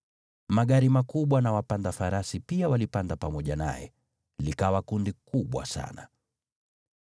Magari makubwa na wapanda farasi pia walipanda pamoja naye. Likawa kundi kubwa sana.